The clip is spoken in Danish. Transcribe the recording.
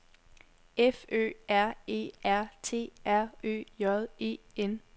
F Ø R E R T R Ø J E N